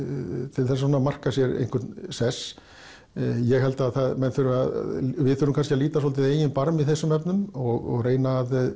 til þess að marka sér einhvern sess ég held að menn þurfa þurfa kannski að líta dálítið í eigin barm í þessum efnum og reyna að